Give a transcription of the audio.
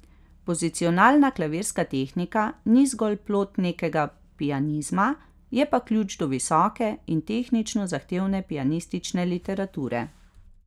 Pozicionalna klavirska tehnika ni zgolj plod nekega pianizma, je pa ključ do visoke in tehnično zahtevne pianistične literature.